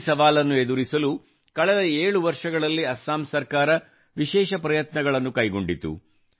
ಈ ಸವಾಲನ್ನು ಎದುರಿಸಲು ಕಳೆದ ಏಳು ವರ್ಷಗಳಲ್ಲಿ ಅಸ್ಸಾಂ ಸರ್ಕಾರವು ವಿಶೇಷ ಪ್ರಯತ್ನಗಳನ್ನು ಕೈಗೊಂಡಿತು